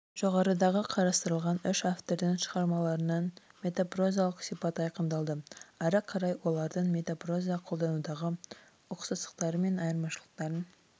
жоғарыда қарастырылған үш автордың шығармаларынан метапрозалық сипат айқындалды ары қарай олардың метапроза қолданудағы ұқсастықтары мен айырмашылықтарын